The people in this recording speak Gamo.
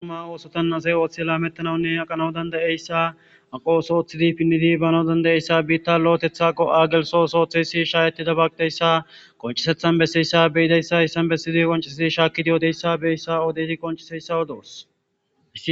Dumma dumma osotan asy oothi aqanawunne lametanawu aqanawu dandayiyesa aqp oso oothid pinid banawu dandayiyesa,biita lo'otwrha go''a geltho ooso oothiyays besiyaysa haysan beyos